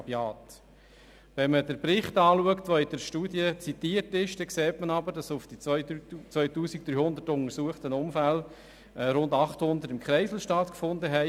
Wenn man den Bericht liest, der in der Studie zitiert wird, sieht man, dass auf die 2300 untersuchten Unfälle rund 800 in einem Kreisel stattgefunden haben.